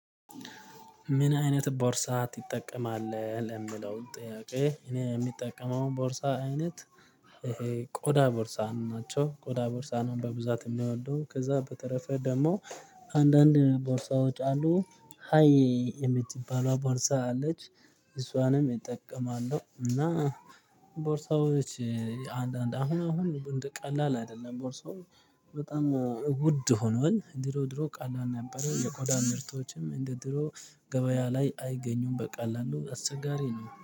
ምን አይነት ቦርሳ ትጠቀምአለህ ለሚለው ጥያቄ? እኔ የምጠቀመው ቦርሳ አይነት ቆዳ ቦርሳ ናቸው ቆዳ ቦርሳ ነው። በብዛት የሚወደው ከዛ በተረፈ ደግሞ አንዳንድ ቦርሳዎች አሉ ሃይ የምትባለው ቦርሳ አለች። እሷንም እጠቀማለሁ እና ቦርሳዎች አንዳንድ አሁን አሁን ቀላል አይደለም ቦርሳው በጣም ውድ ሆኗል። ድሮ ድሮ ቀላል ነበረ የቆዳ ምርቶችም እንደ ድሮው ገበያ ላይ አይገኙም በቀላሉ አስቸጋሪ ነው